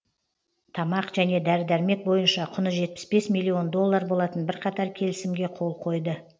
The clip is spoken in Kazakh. тамақ және дәрі дәрмек бойынша құны жетпіс бес милллион доллар болатын бірқатар келісімге қол қойды